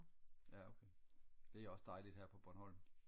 ja okay det er også dejligt her på bornholm